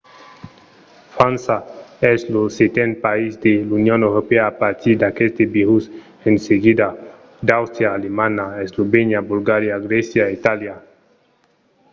frança es lo seten país de l’union europèa a patir d’aqueste virus; en seguida d’àustria alemanha eslovènia bulgaria grècia e itàlia